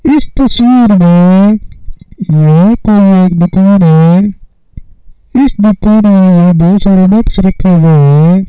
इस तस्वीर में यह कोई एक दुकान है रखे हैं।